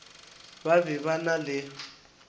ba be ba na le